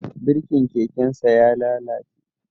Birkin kekensa ya lalace